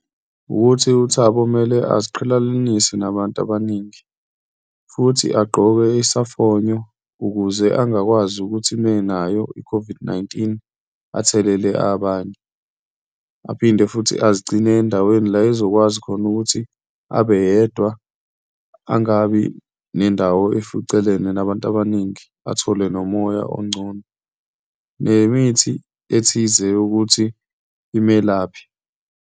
Wukuthi uThabo kumele aziqhelelanise nabantu abaningi futhi agqoke isamfonyo ukuze angakwazi ukuthi uma enayo i-COVID-19, athelele abanye, aphinde futhi azigcine endaweni la ezokwazi khona ukuthi abe yedwa, angabi nendawo eficelene nabantu abaningi, athole nomoya ongcono nemithi ethize ukuthi imelaphe.